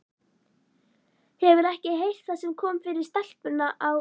Hefurðu ekki heyrt það sem kom fyrir stelpuna á